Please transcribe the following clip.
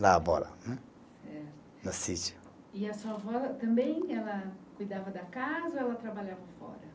E a sua avó também ela cuidava da casa ou ela trabalhava fora?